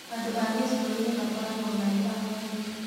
Andũ a gĩcũainĩ makoragũo marĩ ahoreri.